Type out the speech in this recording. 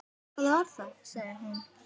Hvað var það? sagði hún.